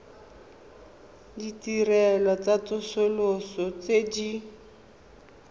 ditirelo tsa tsosoloso tse di